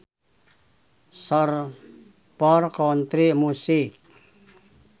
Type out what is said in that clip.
Short for country music